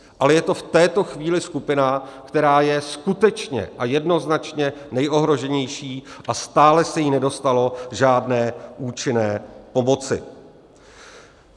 Ale je to v této chvíli skupina, která je skutečně a jednoznačně nejohroženější, a stále se jí nedostalo žádné účinné pomoci.